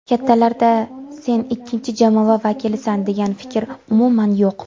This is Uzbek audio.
Kattalarda sen ikkinchi jamoa vakilisan degan fikr umuman yo‘q.